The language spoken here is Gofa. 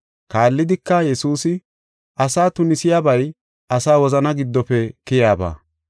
Kaallidika, Yesuusi, “Asa tunisiyabay asa wozana giddofe keyaaba.